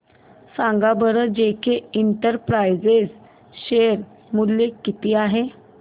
सांगा बरं J K enterprises share मूल्य किती आहे